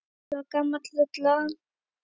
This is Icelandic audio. Það var gamla rullan.